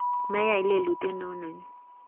meyai lelutiet ne u nenyu"